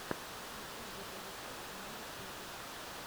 включай видеорецепты на ютюбе